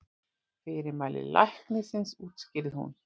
Fyrirmæli læknisins útskýrði hún.